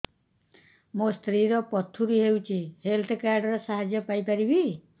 ମୋ ସ୍ତ୍ରୀ ର ପଥୁରୀ ହେଇଚି ହେଲ୍ଥ କାର୍ଡ ର ସାହାଯ୍ୟ ପାଇପାରିବି